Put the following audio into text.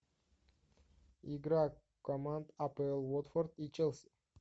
игра команд апл уотфорд и челси